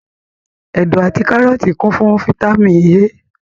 Ẹ̀dọ̀ àti kárọ́tì kún fún fataímìn A.